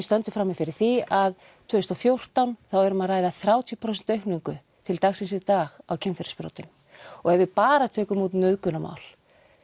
stöndum frammi fyrir því að tvö þúsund og fjórtán þá er um að ræða þrjátíu prósent aukningu til dagsins í dag í kynferðisbrotum og ef við bara tökum út nauðgunarmál